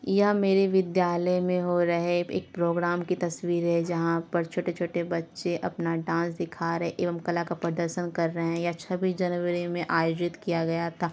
यह मेरे विद्यालय मे हो रहे एक प्रोग्राम की तस्वीर है जहां पर छोटे - छोटे बच्चे अपना डांस दिखा रहे हैं एवं कला का प्रदरशन कर रहे है। यह छबीस जनवरी मे आयोजित किया गया था।